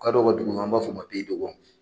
Kadɔw ku dugu i b'a fɔ ma